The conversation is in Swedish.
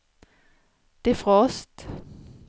defrost